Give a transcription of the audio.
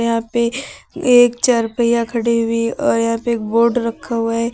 यहां पे एक चारपहिया खड़ी हुई है और यहां पे एक बोर्ड रखा हुआ है।